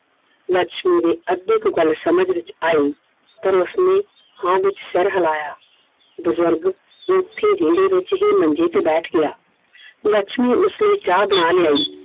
ਲੱਛਮੀ ਦੇ ਅੱਧੇ ਕੁ ਗੱਲ ਸਮਜ ਵਿੱਚ ਆਈ, ਫਿਰ ਉਸਨੇ ਹਾਂ ਵਿੱਚ ਸਰ ਹਿਲਾਇਆ ਬਜ਼ੁਰਗ ਉੱਥੇ ਵਿਹੜੇ ਵਿੱਚ ਹੀ ਮੰਜੇ ਤੇ ਬੈਠ ਗਿਆ I ਲੱਛਮੀ ਉਸ ਲਈ ਚਾਹ ਬਣਾ ਲਿਆਈ,